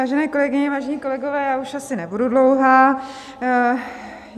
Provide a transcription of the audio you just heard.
Vážené kolegyně, vážení kolegové, já už asi nebudu dlouhá.